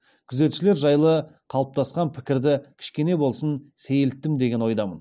күзетшілер жайлы қалыптасқан пікірді кішкене болсын сейілттім деген ойдамын